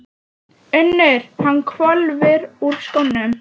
UNNUR: Hann hvolfir úr skónum.